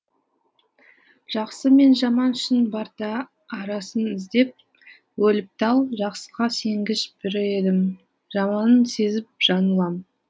жақсы мен жаман шын барда арасын іздеп өліп тал жақсыға сенгіш бір едім жаманын сезіп жаңылам